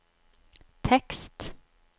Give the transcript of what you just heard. tekst